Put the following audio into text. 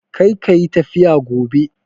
Kar ka yi tafiya gobe!